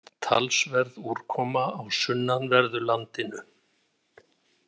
Talsverð úrkoma á sunnanverðu landinu